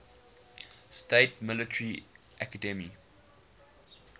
states military academy